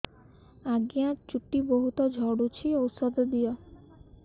ଆଜ୍ଞା ଚୁଟି ବହୁତ୍ ଝଡୁଚି ଔଷଧ ଦିଅ